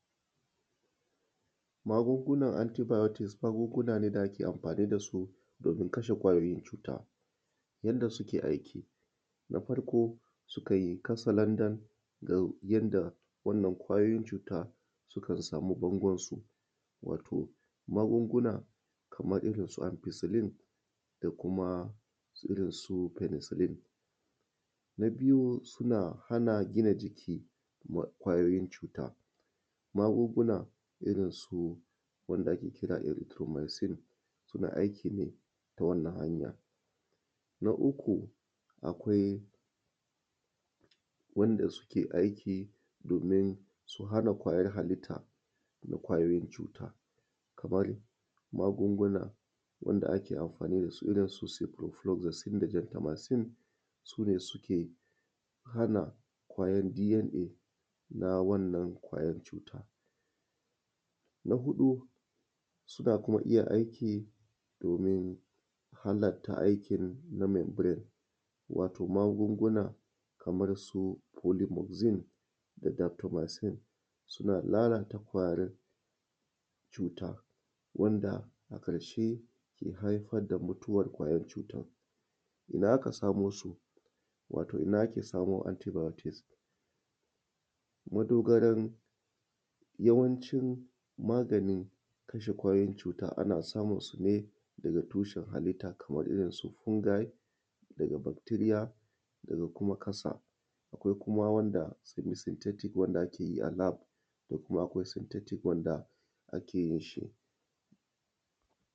Magungunan antibiotics, magunguna ne da ake amfani da su domin kashe kwayoyin cuta yanda suke aiki na farko su kai katse landan ga yanda waɗannan kwayoyin cuta sukan samu bangon su wato magunguna kaman su amfisilin da kuma irin su fenesilin, na biyu suna hana gina jiki wa kwayoyin cuta, magunguna irin su wanda ake kira eretromenci ne suna aiki ne ta wannan hanya, na uku akwai wanda suke aiki domin su hana kwayar halitta na kwayoyin cuta kamar magunguna wanda ake amfani da su irin su gentamacine su ne suke hana kwayan DNA na wannan kwayar cuta. Na huɗu suna iya aiki domin halatta aiki na membrain wato magunguna kamar su polymoxin, suna lalata kwayar cuta wanda a ƙarke ke haifar da mutuwan kwayar cutan. Ina ake samo antibiotics? Yawancin maganin kashe kwayoyin cuta ana samun su ne daga tushen halitta kaman irin su fungi daga bacteria daga kuma ƙasa akwai kuma wanda ake yi LAB.